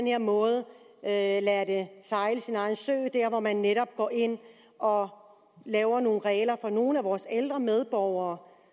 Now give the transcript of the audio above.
her måde lader det sejle sin egen sø der hvor man netop går ind og laver nogle regler for nogle af vores ældre medborgere